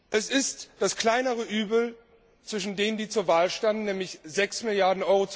Es ist das kleinere Übel zwischen denen, die zur Wahl standen, nämlich 6 Mrd.